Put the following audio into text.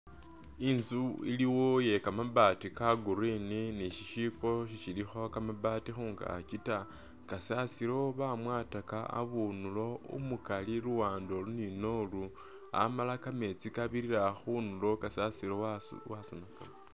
Instu iliwo iye kamabaati ka green ni shi shiipo shilikho kamabaati khunkaki ta kasasilo bamwataka habundulo umukali luwande olu ni nolu amala kameetsi kabirila khunduro kasasilo wasenkukaka.